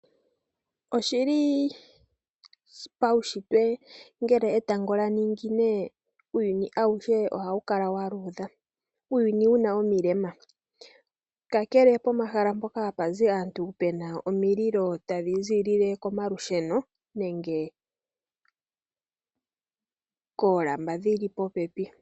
Oshili paushitwe ngele etango lya ningine uuyuni auhe oha wu kala wa luudha, uuyuni wuna omilema. Kakele pomahala mpoka ha pa zi aantu pena omiilo, ta dhi ziilile komalusheno nenge koolamba dhi li popepi.